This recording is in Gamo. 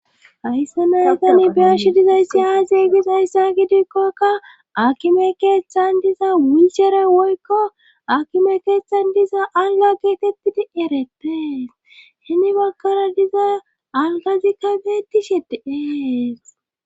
haysse naytani beesh dizay siya ziigis hayssa gidikkokka akime keeththan diza wichere woykko akime keeththan diza alga geetettidi ereteees hini bakkara diza algazikka beeti sheti ees